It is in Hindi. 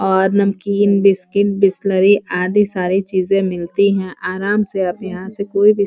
और नमकीन बिस्किट बिसेलरी आदि सारी चीजें मिलती हैं। आराम से अब यहाँ से कोई भी --